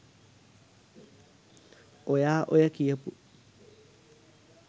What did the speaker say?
ඔයා ඔය කියපු